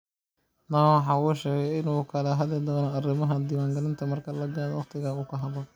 Dhawaan waxa uu sheegay in uu ka hadli doono arimaha diwaan galinta marka la gaadho wakhtiga ku haboon.